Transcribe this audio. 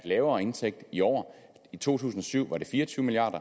lavere indtægt i år i to tusind og syv var det fire og tyve milliard